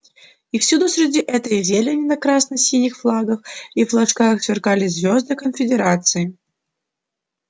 и всюду среди этой зелени на красно-синих флагах и флажках сверкали звезды конфедерации